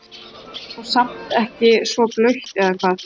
Þetta er nú samt ekki svo blautt eða hvað?